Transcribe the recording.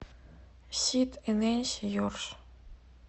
сид и ненси йорш